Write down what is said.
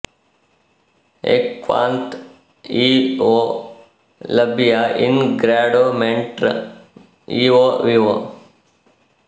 A ಕ್ವಾನ್ತ್ ಇಒ ಲಬ್ಬಿಯ ಇನ್ ಗ್ರಾಡೊ ಮೆಂಟ್ೃ ಇಒ ವಿವೊ